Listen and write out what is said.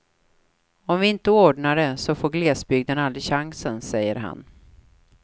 Om vi inte ordnar det så får glesbygden aldrig chansen, säger han.